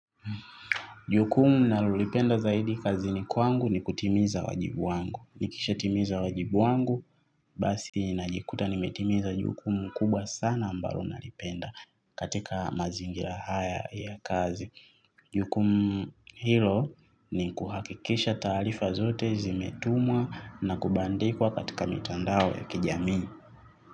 Jukumu nalolipenda zaidi kazini kwangu ni kutimiza wajibu wangu. Nikishatimiza wajibu wangu basi najikuta nimetimiza jukumu kubwa sana ambalo nalipenda katika mazingira haya ya kazi. Jukumu hilo ni kuhakikisha taarifa zote zimetumwa na kubandikwa katika mitandao ya kijamii.